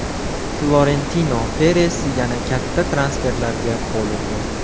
Florentino Peres yana katta transferlarga qo‘l urdi.